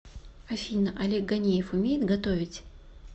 афина олег ганеев умеет готовить